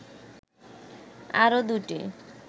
আরও দুটি